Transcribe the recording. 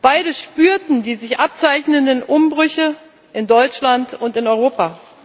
Beide spürten die sich abzeichnenden Umbrüche in Deutschland und in Europa.